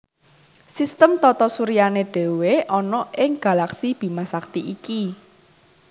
Sistem tata suryané dhéwé ana ing galaksi Bima Sakti iki